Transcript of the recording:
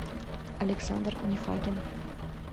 александр нефагин